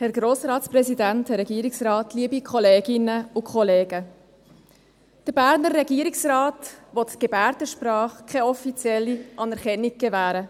Der Berner Regierungsrat will der Gebärdensprache keine offizielle Anerkennung gewähren.